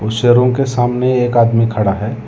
Room के सामने एक आदमी खड़ा है।